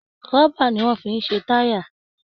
Rọ́bà ni wọ́n fi ń ṣe táyà mọ́tì